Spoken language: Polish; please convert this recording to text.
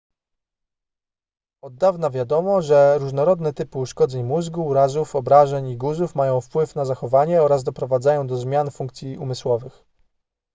od dawna wiadomo że różnorodne typy uszkodzeń mózgu urazów obrażeń i guzów mają wpływ na zachowanie oraz doprowadzają do zmian funkcji umysłowych